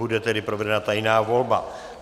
Bude tedy provedena tajná volba.